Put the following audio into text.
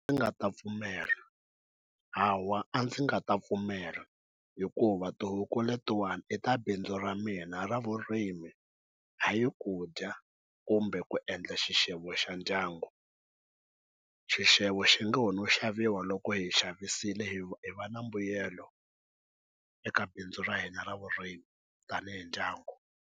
Ndzi nga ta pfumela hawa a ndzi nga ta pfumela hikuva tihuku letiwana i ta bindzu ra mina ra vurimi a yi ku dya kumbe ku endla xana xixevo xa ndyangu xixevo xi nga wo no xaviwa loko hi xavisile hi hi va na mbuyelo eka bindzu ra hina ra vurimi tanihi ndyangu.